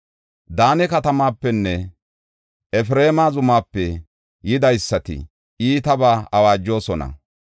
Daane katamaapenne Efreema zumaape yidaysati iitabaa awaajosona.